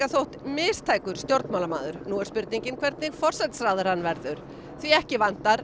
þótt mistækur stjórnmálamaður nú er spurningin hvernig forsætisráðherra hann verður því ekki vantar